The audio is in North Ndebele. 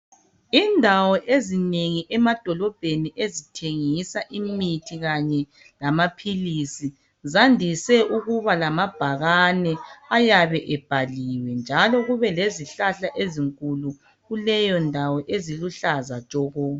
Imdawo ezinengi emadolobheni ezithengisa imithi kanye lamaphilisi zandise ukuba lambhakane ayabe ebhaliwe njalo kubelezihlahla ezinkulu kuleyondawo eziluhlaza tshoko.